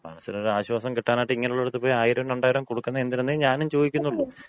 മനസ്സിന് ഒരാശ്വാസം കിട്ടാനായിട്ട് ഇങ്ങനൊള്ളടത്ത് പോയി ആയിരോം രണ്ടായിരോം കൊടുക്കുന്നതെന്തിനെന്നെ ഞാനും ചോദിക്കുന്നുള്ളൂ.